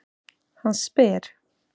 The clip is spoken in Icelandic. Hann spyr.